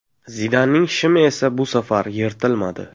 Zidanning shimi esa bu safar yirtilmadi.